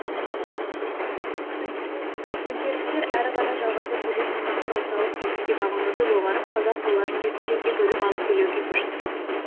төңкерістер әрі қарай жалғаса келе сұлтандар орталық билікке бағынуды доғарып қазақ руларын жеке жеке бөліп алып билеуге көшті